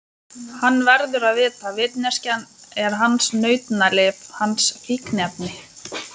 Hann verður að vita, vitneskjan er hans nautnalyf, hans fíkniefni.